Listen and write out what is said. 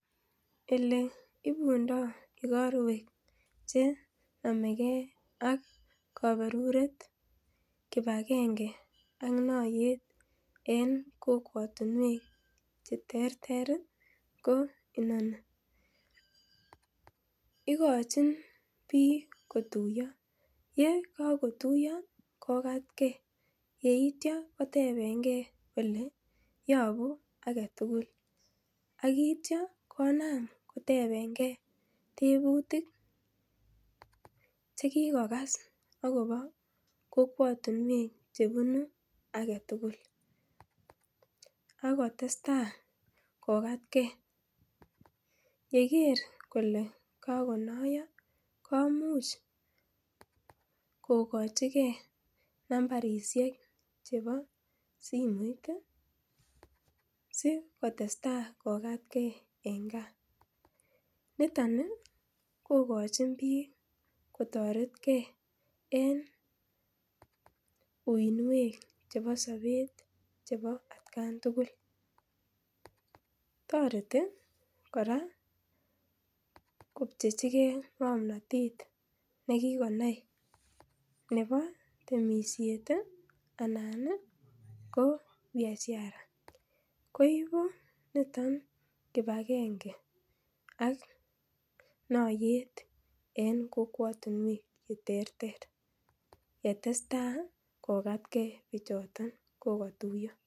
Eleibundo igorwek che nomegee ak kaberuret, kipakenge ak noiyet en kokwotinwek cheterter ii ko inoni ikochin biik kotuiyo yekotuiyo kokatge, yeityo kotepengee oleyopu agetugul akityia konam kotepengee tebutik chekikokas chekikokas akopo kokwotinwek chebunu agetugul akotesta kokatge yeker kole kakonoiyo komuch kokochikee nambarisiek chepo simoit ii sikotestaa kokatgee en gaa. niton ii kokochin biik kotoretge en uinwek chepo sobet chebo atkan tugul, toreti kora kopchechikee ng'omnotet nekikonai nebo temisiet ii anan ko biashara, koibu niton kipakenge ak noiyet en kokwotinwek cheterter yestesta kokatkee bichoton kokotuiyo.